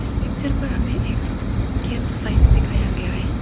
इस पिक्चर पर हमें एक गेम साइट दिखाया गया है।